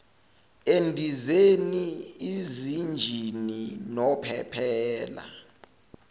endizeni izinjini nophephela